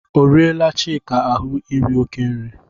O riela Chika ahụ iri oké nri?